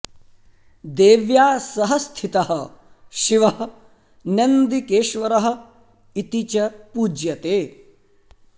देव्या सह स्थितः शिवः नन्दिकेश्वरः इति च पूज्यते